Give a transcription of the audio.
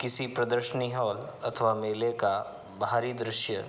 किसी प्रदर्शनी हॉल अथवा मेले का बाहरी दृश्य।